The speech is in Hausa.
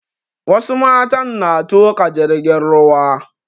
Wasu matan na tuƙa jirgin ruwa